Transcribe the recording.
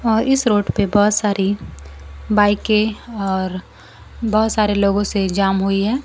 और इस रोड पे बहुत सारी बाइकें और बहुत सारे लोगों से जाम हुई है।